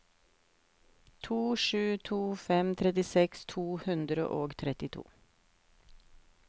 to sju to fem trettiseks to hundre og trettito